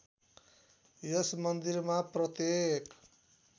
यस मन्दिरमा प्रत्येक